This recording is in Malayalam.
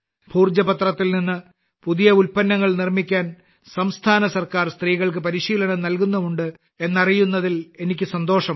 ഭോജ പത്രത്തിൽ നിന്ന് പുതിയ ഉൽപ്പന്നങ്ങൾ നിർമ്മിക്കാൻ സംസ്ഥാന ഗവണ്മെന്റ് സ്ത്രീകൾക്ക് പരിശീലനം നൽകുന്നുമുണ്ട് എന്നറിയുന്നതിൽ എനിക്ക് സന്തോഷമുണ്ട്